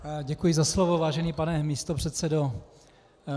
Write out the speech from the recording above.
Děkuji za slovo, vážený pane místopředsedo.